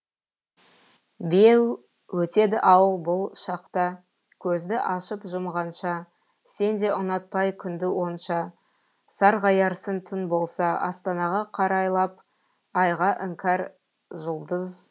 беу өтеді ау бұл шақ та көзді ашып жұмғанша сен де ұнатпай күнді онша сарғаярсың түн болса астанаға қарайлап айға іңкәр жұлдыз